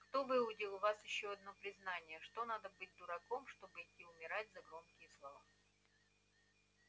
кто выудил у вас ещё одно признание что надо быть дураком чтобы идти умирать за громкие слова